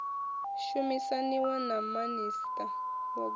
shumisaniwa na minista wa gwama